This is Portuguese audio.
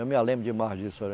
Eu me lembro demais disso.